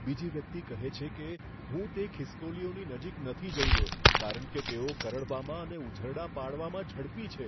બીજી વ્યક્તિ કહે છે કે, હું તે ખિસકોલીઓની નજીક નથી જઈ રહ્યો, કારણ કે તેઓ કરડવામાં અને ઉઝરડા પાડવામાં ઝડપી છે.